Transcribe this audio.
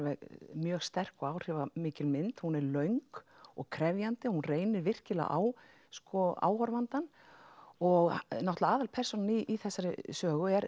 mjög sterk og áhrifarík mynd hún er löng og krefjandi og reynir virkilega á sko áhorfandann og aðalpersónan í þessari sögu er